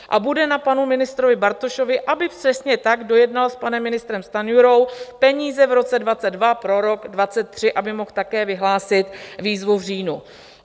A bude na panu ministrovi Bartošovi, aby přesně tak dojednal s panem ministrem Stanjurou peníze v roce 2022 pro rok 2023, aby mohl také vyhlásit výzvu v říjnu.